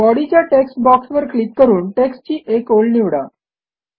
बॉडीच्या टेक्स्ट बॉक्सवर क्लिक करून टेक्स्टची एक ओळ निवडा